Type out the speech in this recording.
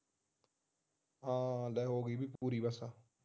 ਹਾਂ ਲੈ ਹੋ ਗਈ ਬਈ ਪੂਰੀ ਬਸ